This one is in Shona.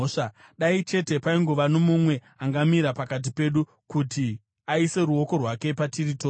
Dai chete paingova nomumwe angamira pakati pedu, kuti aise ruoko rwake patiri tose,